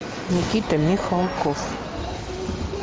никита михалков